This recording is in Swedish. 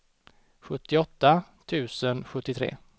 sjuttioåtta tusen sjuttiotre